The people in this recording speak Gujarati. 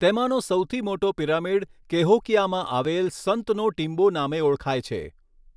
તેમાનો સૌથી મોટો પિરામિડ કૅહોકીયામાં આવેલ સંતનો ટીંબો નામે ઓળખાય છે.